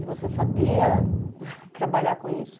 E você sabia trabalhar com isso?